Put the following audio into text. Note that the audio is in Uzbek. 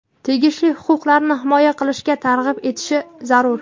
tegishli huquqlarni himoya qilishga targ‘ib etishi zarur);.